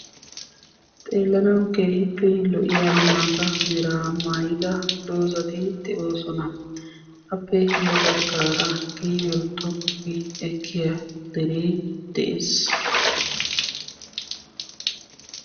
xeellanwu keehippe lo"iyaa maata mera maayidda doozati de'oosona; appe ya baggara qiibiyo xoqqu gi ekkiya dere de'ees